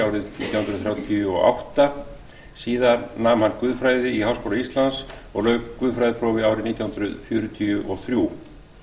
árið nítján hundruð þrjátíu og átta síðan nam hann guðfræði í háskóla íslands og lauk guðfræðiprófi árið nítján hundruð fjörutíu og þrjú